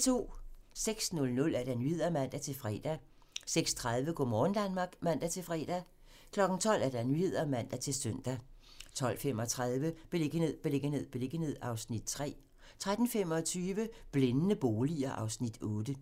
06:00: Nyhederne (man-fre) 06:30: Go' morgen Danmark (man-fre) 12:00: Nyhederne (man-søn) 12:35: Beliggenhed, beliggenhed, beliggenhed (Afs. 3) 13:25: Blændende boliger (Afs. 8)